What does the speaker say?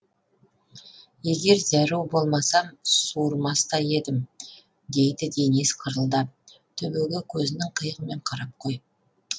егер зәру болмасам суырмас та едім дейді денис қырылдап төбеге көзінің қиығымен қарап қойып